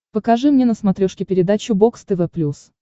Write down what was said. покажи мне на смотрешке передачу бокс тв плюс